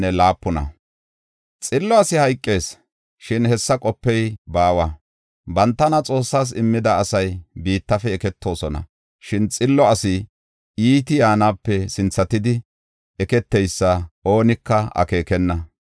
Xillo asi hayqees; shin hessa qopey baawa. Bantana Xoossas immida asay biittafe eketoosona, shin xillo asi iiti yaanape sinthatidi, eketeysa oonika akeekenna.